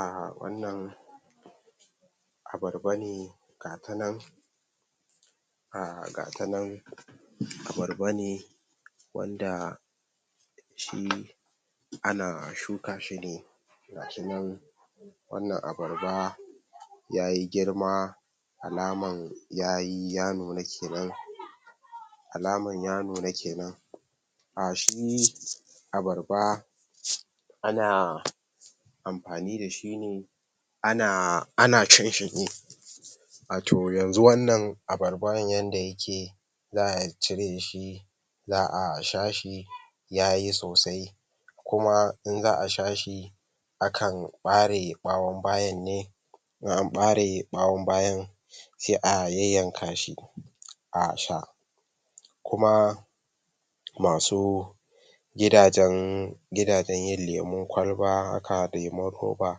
um wannan abarba ne gatanan um gatanan abarba ne wanda shi ana shuka shine ga shinan wannan abarba yayi girma alaman yayi ya nuna kenan alaman ya nuna kenan um shi abarba ana amfani dashi ne ana cinshi ne wato yanzu wannan abarban yanda yake za a cireshi za a sha shi yayi sosai kuma in za a shashi akan ɓare ɓawon bayan ne in an ɓare ɓawon bayan se a yanyan ka shi a sha kuma masu gida jan gida jan yin lemun kwalba haka lemun roba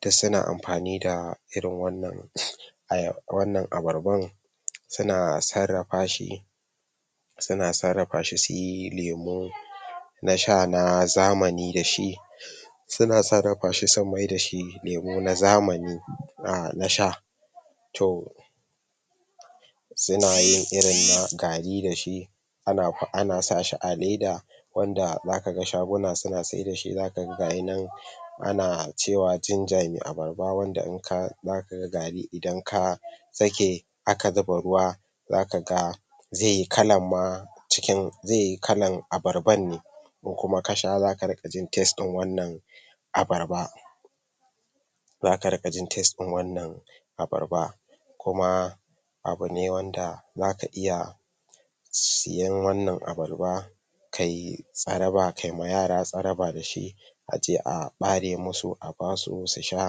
duk suna amfani da irin wannan wannan abarban suna sarrafa shi suna sarrafa shi suyi lemu nasha na zamani dashi suna sarra fashi su mai dashi lemu na zamani a na sha to sunayin irin na gari da shi ana sashi a leda wanda zakaga shaguna suna saidashi zakaga gayina ana cewa jinja me abar ba wanda inka zakaga gari idan ka sake aka zuba ruwa zaka ga zeyi kalan ma cikin zeyi kallan ababar ban ne ko kuma kasha zaka riƙajin tes ɗin wannan abarba zaka riƙajin tes ɗin wannan abarba kuma abune wanda zaka iya siyan wannan abarba kayi tsaraba kaima yara tsaraba dashi aje a ɓare musu abasu su sha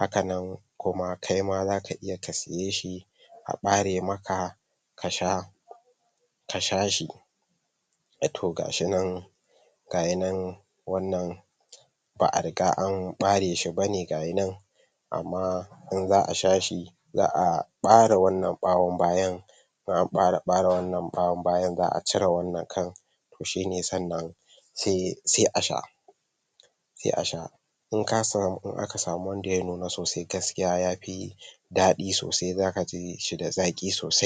haka nan kuma kaima zaka iya kasiyeshi a ɓare maka ka sha kasha shi a to ga shinan gayanan wannan ba a riga an ɓareshi bane gayinan amma in za a shashi za a bare wannan ɓawon bayan bayan an fara ɓara wannan ɓawon bayan za a cire wannan kan shine sannan se asha se a sha inkamu in aka samu wanda yanuna sosai yafi daɗi sosai zaka jishi da zaƙi sosai